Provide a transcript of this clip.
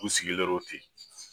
U sigilen ten.